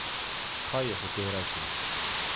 Kaj je hotel reči?